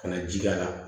Ka na ji k'a la